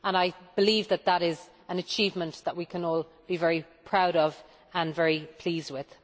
I believe that is an achievement that we can all be very proud of and very pleased with.